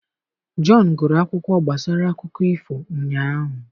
john gụrụ akwụkwọ gbasara akụkọ ifo ụnyaahụ.